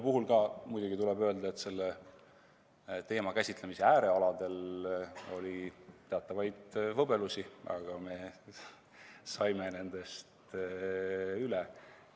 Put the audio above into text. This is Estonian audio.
Tuleb muidugi öelda, et selle teema käsitlemise äärealadel oli teatavaid võbelusi, aga me saime nendest üle.